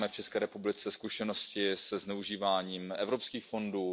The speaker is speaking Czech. My máme v České republice zkušenosti se zneužíváním evropských fondů.